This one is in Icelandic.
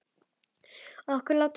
Okkur lá ekkert á.